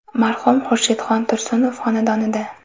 Marhum Xurshidxon Tursunov xonadonida.